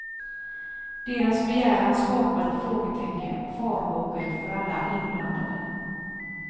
Deras begäran skapade frågetecken och farhågor för alla inblandade.